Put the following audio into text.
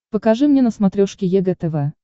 покажи мне на смотрешке егэ тв